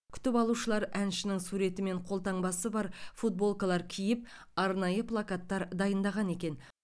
күтіп алушылар әншінің суреті мен қолтаңбасы бар футболкалар киіп арнайы плакаттар дайындаған екен